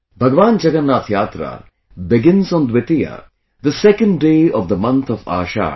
Bhagwan Jagannath Yatra begins on Dwitiya, the second day of the month of Ashadha